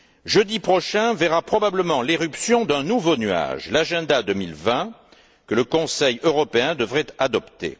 Jeudi prochain verra probablement l'apparition d'un nouveau nuage, l'agenda 2020 que le Conseil européen devrait adopter.